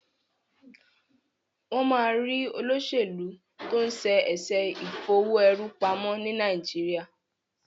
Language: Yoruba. wón má rí olósèlú to'n ṣe eṣe Ìfowó-èrú-pamọ́ ní Nàìjíríà.